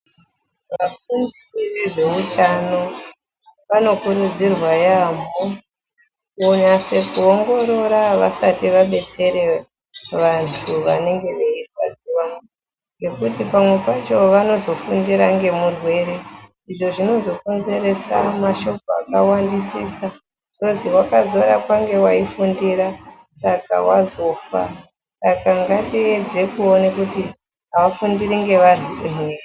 Vakuru vezveutano vanokurudzirwa yaamho kuti vanase kuongorora vasati vadetsera vantu vanenge veirwadziwa ngekuti pamwe pacho vanozofundira ngemurwere izvo zvinozokonzeresa mashoko akawandisisa kwozwi akarapwa ngemuntu waifundira saka azofa. Saka ngatiedze kuningira kuti havafundiri ngevantu ere.